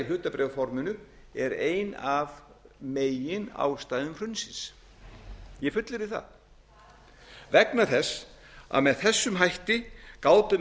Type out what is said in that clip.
hlutabréfaforminu er ein af meginástæðum hrunsins ég fullyrði það vegna þess að með þessum hætti gátu